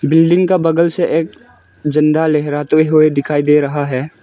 Building का बगल से एक झंडा लहराते हुए दिखाई दे रहा है।